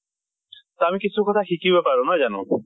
আৰু কিছু কথা শিকিব পাৰো, নহয় জানো?